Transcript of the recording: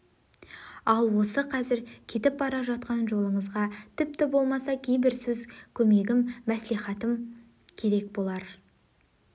ал осы қазір кетіп бара жатқан жолыңызға тіпті болмаса кейбір сөз көмегім мәслихатым керек болар